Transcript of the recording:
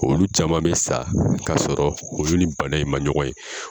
Olu caman bɛ sa k'a sɔrɔ u ni nin bana in man ɲɔgɔn ye.